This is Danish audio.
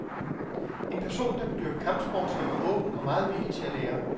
En person der vil dyrke kampsport skal være åben og meget villig til at lære.